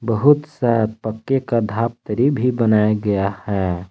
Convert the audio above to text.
बहुत सा पक्के का धापत्रि भी बनाया गया है।